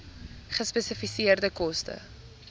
gespesifiseerde koste